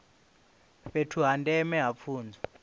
fhethu ha ndeme ha pfunzo